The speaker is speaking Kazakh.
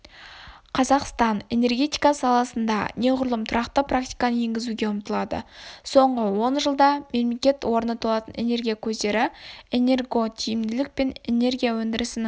қазақстан энергетика саласында неғұрлым тұрақты практиканы енгізуге ұмтылады соңғы он жылда мемлекет орны толатын энергия көздері энерготиімділік пен энергия өндірісінің